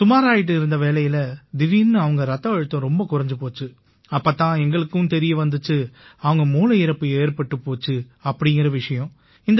சுமாராயிட்டு இருந்த வேளையில திடீர்னு அவங்க ரத்த அழுத்தம் ரொம்ப குறைஞ்சு போச்சு அப்பத் தான் எங்களுக்குத் தெரிய வந்திச்சு அவங்க மூளை இறப்பு ஏற்பட்டுப் போச்சு அப்படீங்கற விஷயம்